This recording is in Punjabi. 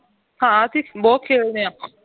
ਹਾਂ ਅਸੀਂ ਬਹੁਤ ਖੇਡਦੇ ਹਾਂ